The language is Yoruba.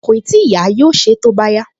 Kòì tíì yá, yóò ṣe é tó bá yá